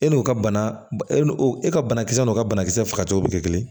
E n'o ka bana e n'o e ka banakisɛ n'o ka banakisɛ fagacogo bɛ kɛ kelen ye